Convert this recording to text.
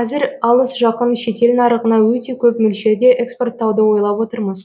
қазір алыс жақын шетел нарығына өте көп мөлшерде экспорттауды ойлап отырмыз